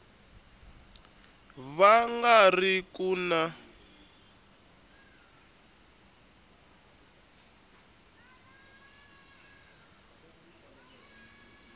va nga ri ku na